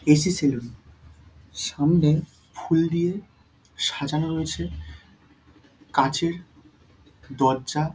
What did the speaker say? এ. C salon সামনে ফুল দিয়ে সাজানো রয়েছে কাঁচের দরজা।